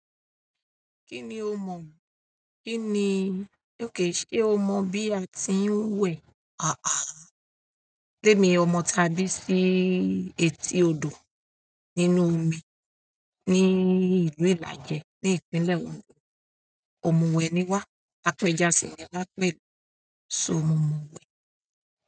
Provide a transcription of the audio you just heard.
Kí ni o mọ̀? Kí ni, okay ṣe o mọ̀ bí a ti ń wẹ̀? Témi ọmọ táa bí sí etí odò nínú omi ní ìlú Ìlàjẹ ní ìpínlẹ̀ Ondo. Òmùwẹ́ ni wá. Apẹja sì ni wá pẹ̀lú. So mo mọ̀wẹ̀.